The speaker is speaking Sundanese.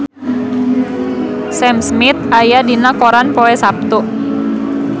Sam Smith aya dina koran poe Saptu